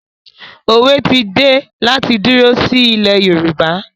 Òwe ti dé láti dúró sí ilẹ̀ Yorùbá